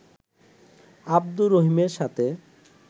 আবদুর রহিমের সাথে